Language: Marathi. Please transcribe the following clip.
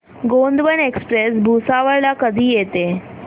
गोंडवन एक्सप्रेस भुसावळ ला कधी येते